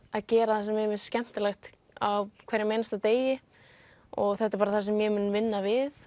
að gera það sem mér finnst skemmtilegt á hverjum einasta degi og þetta er það sem ég mun vinna við